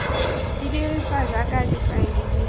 di dirisiwa jaaka difaele di